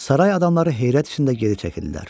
Saray adamları heyrət içində geri çəkildilər.